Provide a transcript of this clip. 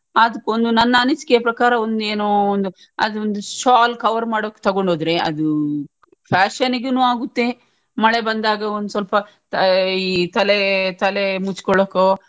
ಅದ್ಕೊಂದು ನನ್ನ ಅನಿಸಿಕೆಯ ಪ್ರಕಾರ ಒಂದ್ ಏನೋ ಒಂದ್ ಅದೊಂದು shawl cover ಮಾಡೋಕ್ ತೊಗೊಂಡು ಹೋದ್ರೆ ಅದೂ fashion ನಿಗುನು ಆಗುತ್ತೆ ಮಳೆ ಬಂದಾಗ ಒಂದ್ ಸ್ವಲ್ಪ ಈ ತಲೆತಲೇ ಮುಚ್ಕೊಳ್ಳೋಕೋ.